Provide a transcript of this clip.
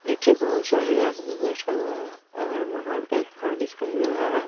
नीचे बहुत सारे आदमी बैठे हुए हैं अगल बगल एक घर दिखाई दे रहा है।